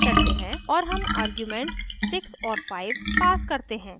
और हम आर्ग्यूमेंट्स 6 और 5 pass करते हैं